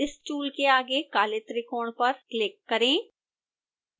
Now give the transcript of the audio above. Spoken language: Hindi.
इस टूल के आगे काले त्रिकोण पर क्लिक करें